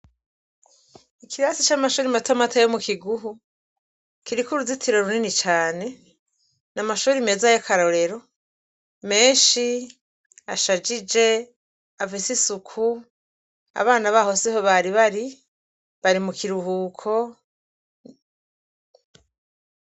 Ikirasi c’amashure matomato yo mukiguhu kiriko uruzitiro runini cane n’amashure meza y’akarorero menshi ashajije afise isuku, abana baho siho bari bari, bari mu kiruhuko.